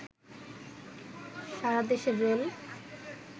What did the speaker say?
সারা দেশের রেল